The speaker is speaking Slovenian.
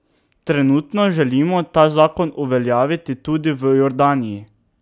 Trenutno želimo ta zakon uveljaviti tudi v Jordaniji.